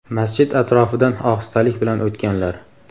Masjid atrofidan ohistalik bilan o‘tganlar.